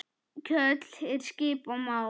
Kjóll er skip á mar.